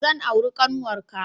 Zan auri ƙanwarka.